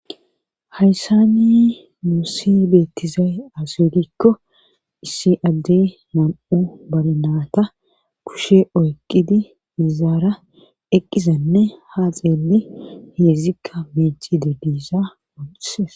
hayssani muusi beettizay aseogikko issi addey nam7o barnaata kushe oyqqidi izaara eqqizenne haaxeeli heedzzikka meeci de diisa ohises